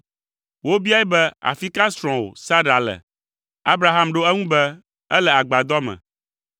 Wobiae be, “Afi ka srɔ̃wò, Sara le?” Abraham ɖo eŋu be, “Ele agbadɔ me.”